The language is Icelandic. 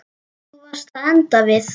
Þú varst að enda við.